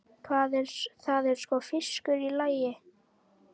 Það er sko fiskur í lagi.